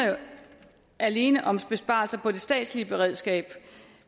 alene om besparelser på det statslige beredskab